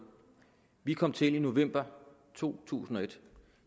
vi kom til i november to tusind og et og